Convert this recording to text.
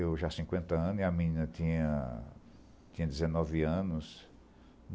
Eu já cinquenta anos e a menina tinha tinha dezenove anos.